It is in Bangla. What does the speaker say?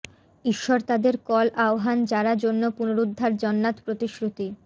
ঈশ্বর তাদের কল আহ্বান যারা জন্য পুনরূদ্ধার জান্নাত প্রতিশ্রুতি